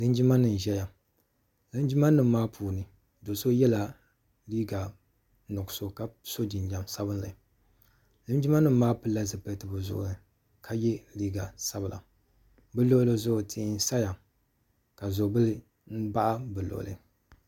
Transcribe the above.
Linjima n ʒɛya linjima nim maa puuni doo so yɛla liiga nuɣusu ka so jinjam sabinli linjima nim maa pili la zipiliti bi zuɣu ni ka yɛ liiga sabila bi luɣuli zuɣu tihi n saya ka zɔli bila baɣa bi luɣuli.